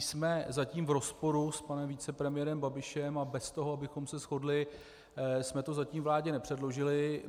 Jsme zatím v rozporu s panem vicepremiérem Babišem a bez toho, abychom se shodli, jsme to zatím vládě nepředložili.